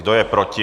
Kdo je proti?